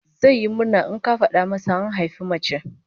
Zai yi murna in aka fada masa an haifi mace